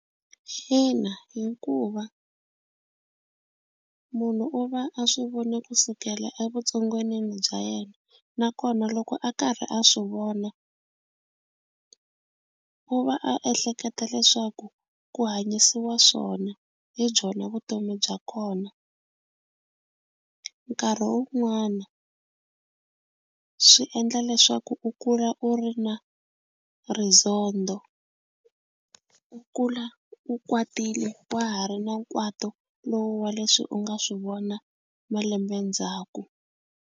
Ina hikuva munhu u va a swi vona kusukela a vutsongwanini bya yena nakona loko a karhi a swi vona u va a ehleketa leswaku ku hanyisiwa swona hi byona vutomi bya kona nkarhi wun'wana swi endla leswaku u kula u ri na rizondho u kula u kwatile wa ha ri na nkwato lowu wa leswi u nga swi vona malembe ndzhaku.